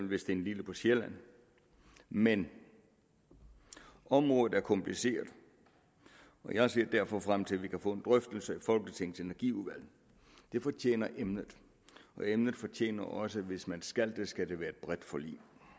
ved stenlille på sjælland men området er kompliceret og jeg ser derfor frem til at vi kan få en drøftelse i folketingets energiudvalg det fortjener emnet og emnet fortjener også at hvis man skal det skal det være i et bredt forlig